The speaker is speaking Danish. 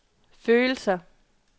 følelser